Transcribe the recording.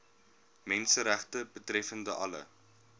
menseregte betreffende alle